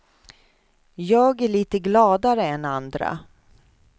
Jag är lite gladare än andra.